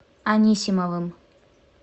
анисимовым